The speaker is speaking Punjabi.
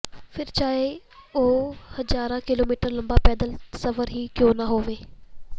ਫਿਰ ਚਾਹੇ ਉਹ ਹਜ਼ਾਰਾਂ ਕਿਲੋਮੀਟਰ ਲੰਬਾ ਪੈਦਲ ਸਫ਼ਰ ਹੀ ਕਿਉਂ ਨਾ ਹੋਵੇ